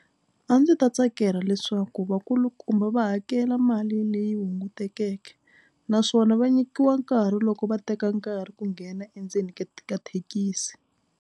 A ndzi ta tsakela leswaku vakulukumba va hakela mali leyi hungutekeke naswona va nyikiwa nkarhi loko va teka nkarhi ku nghena endzeni ka ka thekisi.